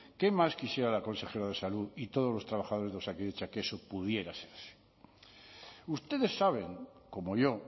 qué más quisiera la consejera de salud y todos los trabajadores de osakidetza que eso pudiera ser así ustedes saben como yo